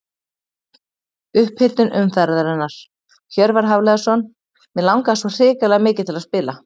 Upphitun umferðarinnar: Hjörvar Hafliðason Mig langaði svo hrikalega mikið til að spila.